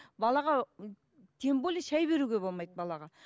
балаға тем более шай беруге болмайды балаға